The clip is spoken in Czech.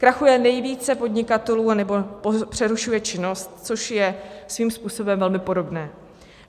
Krachuje nejvíce podnikatelů, nebo přerušuje činnost, což je svým způsobem velmi podobné.